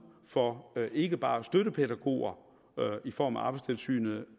for ikke bare støttepædagoger i form af arbejdstilsynet